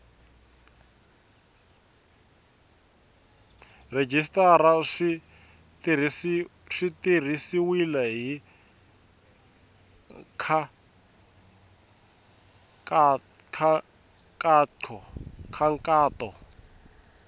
rhejisitara swi tirhisiwile hi nkhaqato